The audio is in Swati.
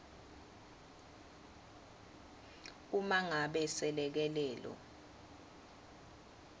uma ngabe selekelelo